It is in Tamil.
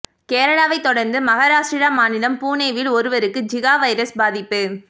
கேரளாவை தொடர்ந்து மகாராஷ்ட்ரா மாநிலம் புனேவில் ஒருவருக்கு ஜிகா வைரஸ் பாதிப்பு